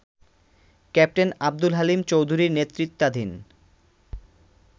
captain Abdul Halim চৌধুরীর নেতৃত্বাধীন